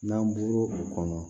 N'an bɔra o kɔnɔ